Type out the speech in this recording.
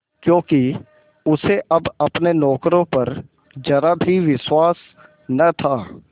क्योंकि उसे अब अपने नौकरों पर जरा भी विश्वास न था